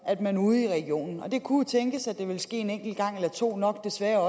at man ude i regionen og det kunne jo tænkes at det ville ske en enkelt gang eller to og desværre